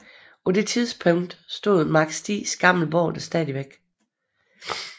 På det tidspunkt stod Marsk Stigs gamle borg der stadigvæk